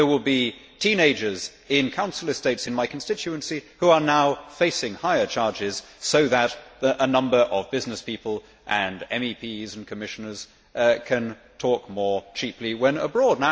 There will be teenagers in council estates in my constituency who are now facing higher charges so that a number of businesspeople, MEPs and Commissioners can talk more cheaply when abroad.